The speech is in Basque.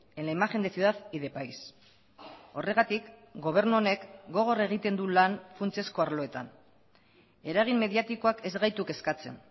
en la imagen de ciudad y de país horregatik gobernu honek gogor egiten du lan funtsezko arloetan eragin mediatikoak ez gaitu kezkatzen